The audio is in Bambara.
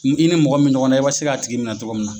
Ki i ni mɔgɔ min me ɲɔgɔn na i b'a se k'a tigi minɛ cogo min na.